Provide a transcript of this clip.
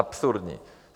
Absurdní.